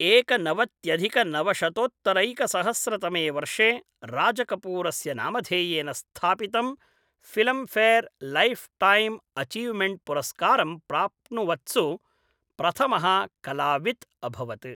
एकनवत्यधिकनवशतोत्तरैकसहस्रतमे वर्षे राजकपूरस्य नामधेयेन स्थापितं फिल्मफेयर् लैफ़्टैम् अचीवमेण्ट् पुरस्कारं प्राप्नुवत्सु प्रथमः कलावित् अभवत् ।